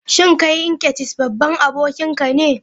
Shin kai Nkechis babban aboki ne?